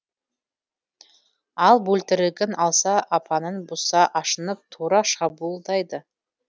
ал бөлтірігін алса апанын бұзса ашынып тура шабуылдайды